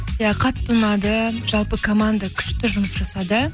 иә қатты ұнады жалпы команда күшті жұмыс жасады